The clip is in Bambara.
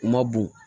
U ma bon